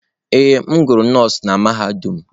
Ee, m gụrụ nọọsụ na mahadum.